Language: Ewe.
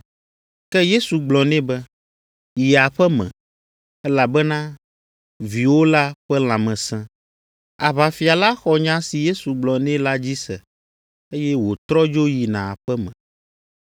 Ke Yesu gblɔ nɛ be, “Yi aƒe me, elabena viwò la ƒe lãme sẽ.” Aʋafia la xɔ nya si Yesu gblɔ nɛ la dzi se, eye wòtrɔ dzo yina aƒe me.